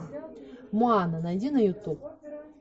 моана найди на ютуб